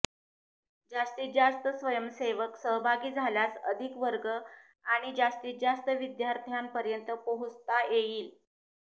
जास्तीत जास्त स्वयंसेवक सहभागी झाल्यास अधिक वर्ग आणि जास्तीत जास्त विद्यार्थ्यांपर्यंत पोहोचता येईल